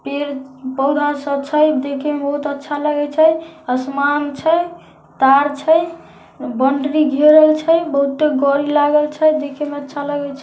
पेड़-पौधा सब छै देखेम बहुत अच्छा लागे छै असमान छै तार छै बॉन्डरी घेरल छै बहुत्ते गोरी लागल छै देखे में अच्छा लगे छै।